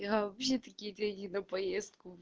я вообще такие деньги на поездку